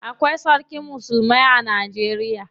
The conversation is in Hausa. Akwai sarkin musulmai a Najeriya.